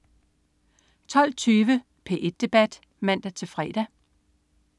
12.20 P1 debat (man-fre)